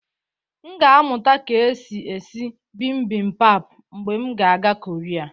M ga-amụta ka èsi ési Bimbimbap mgbe m ga-aga Korea